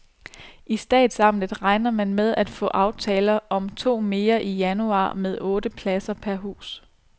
I statsamtet regner man med at få aftaler om to mere i januar med otte pladser per hus.